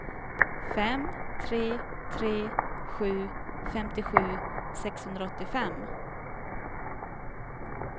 fem tre tre sju femtiosju sexhundraåttiofem